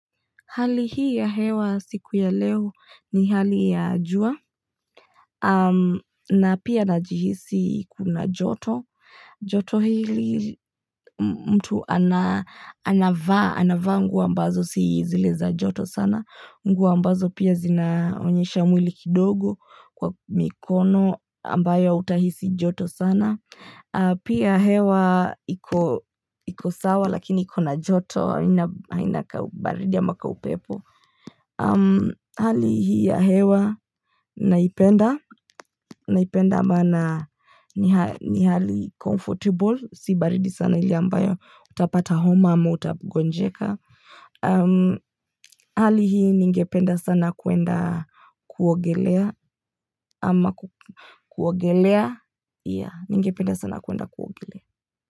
Hali hii ya hewa siku ya leo ni hali ya jua na pia na jihisi kuna joto. Joto hili mtu anavaa, anavaa nguo ambazo si zile za joto sana. Nguo ambazo pia zinaonyesha mwili kidogo kwa mikono ambayo utahisi joto sana. Pia hewa iko sawa lakini kuna joto haina kabaridia ama kaupepo. Hali hii ya hewa naipenda naipenda maana ni hali comfortable si baridi sana ile ambayo utapata homa ama uta gonjeka hali hii ningependa sana kuenda kuogelea ama kuogelea, ya ningependa sana kuenda kuogelea.